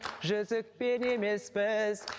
жүзікпен емес біз